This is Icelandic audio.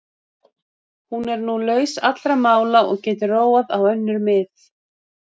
Hún er nú laus allra mála og getur róað á önnur mið.